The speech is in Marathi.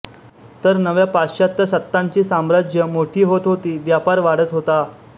तर नव्या पाश्चात्य सत्तांची साम्राज्य मोठी होत होती व्यापार वाढत होता